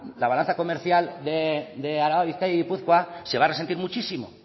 la balanza comercial de araba bizkaia y gipuzkoa se va a resentir muchísimo